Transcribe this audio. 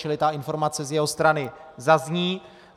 Čili ta informace z jeho strany zazní.